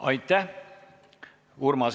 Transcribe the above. Aitäh!